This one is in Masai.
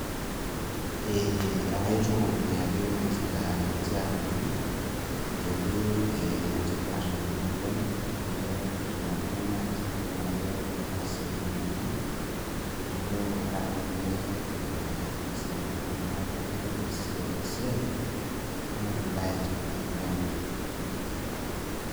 Ee akaituny ake ninche aliki ajoki enetipat ena oleng teneponu nai meeta keeta siatini enye amu ore ake pee ee easaki ltunganak ate esiai, naembae etipat oleng.